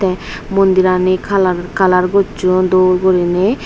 mondhirani color color gocchon dol gurine.